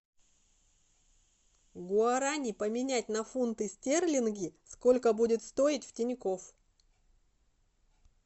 гуарани поменять на фунты стерлинги сколько будет стоить в тинькофф